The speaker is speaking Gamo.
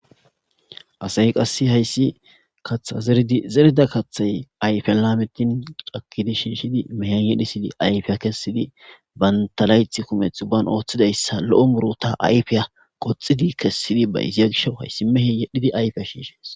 Asay qase hayisi kata zeridi zerida kati ayifen lametin cakidi shishidi mehian yedhisidi ayifa kesidi banta layiti kumeti baotidiaysa lo muruta ayifiy qoxidi kesidi bayizia gishawu hayisi mehe yedhidi ayufa shishshes.